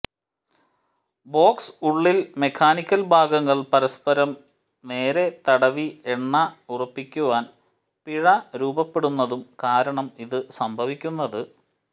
box ഉള്ളിൽ mechanical ഭാഗങ്ങൾ പരസ്പരം നേരെ തടവി എണ്ണ ഉറപ്പിക്കുവാൻ പിഴ രൂപപ്പെടുന്നു കാരണം ഈ സംഭവിക്കുന്നത്